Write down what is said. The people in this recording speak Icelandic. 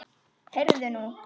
Heyrðu þú!